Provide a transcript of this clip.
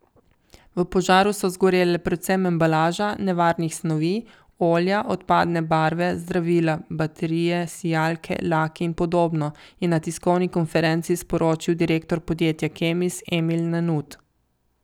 V požaru so zgorele predvsem embalaža nevarnih snovi, olja, odpadne barve, zdravila, baterije, sijalke, laki in podobno, je na tiskovni konferenci sporočil direktor podjetja Kemis Emil Nanut.